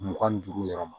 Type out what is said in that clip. Mugan ni duuru yɛrɛ ma